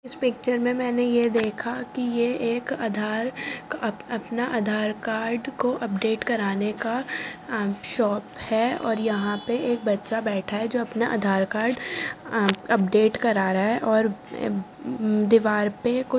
इस पिक्चर में मैंने यह देखा कि यह एक आधार अपना आधार कार्ड को अपडेट कराने का शॉप है और यहाँ पे एक बच्चा बैठा है जो अपना आधार कार्ड अपडेट करा रहा है और दीवार पे --